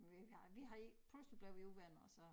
Men vi har vi har ikke først så blev vi uvenner og så